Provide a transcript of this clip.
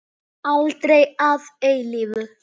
Aldrei að eilífu.